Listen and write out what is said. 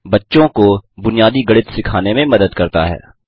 बच्चों को बुनियादी गणित सिखाने में मदद करता है